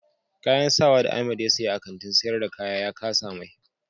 Kayan sawa da Ahamed ya siya a Kantin sayar da kaya ya kasa mai.